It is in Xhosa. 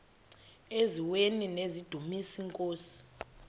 eziaweni nizidumis iinkosi